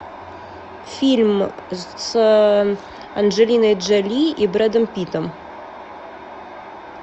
фильм с анджелиной джоли и брэдом питтом